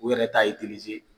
U yɛrɛ t'a